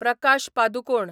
Prakash Padukone